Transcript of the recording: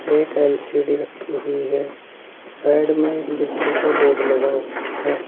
एक एल_सी_डी रखी हुई है साइड में बिजली का बोर्ड लगा हुआ है।